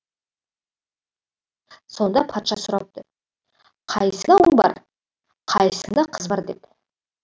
сонда патша сұрапты қайсыңда ұл бар қайсыңда қыз бар деп